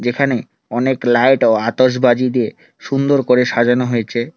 এখানে অনেক লাইট ও আতসবাজি দিয়ে সুন্দর করে সাজানো হয়েছে।